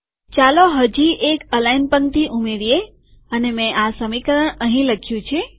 ચાલો હજી એક અલાઈન પંક્તિ ઉમેરીએઅને મેં આ સમીકરણ અહીં લખ્યું છે